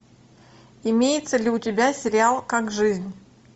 имеется ли у тебя сериал как жизнь